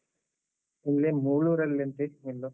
ನಿನ್ನೆ ಮುಳೂರಲ್ಲಿ ಅಂತೆ ಎಲ್ಲೋ.